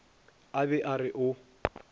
a be a re o